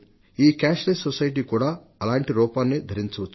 ఈ నగదు రహిత సమాజం కూడా అలాంటి రూపాన్నే ధరించవచ్చు